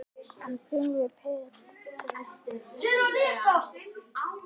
Hann byggði Pétri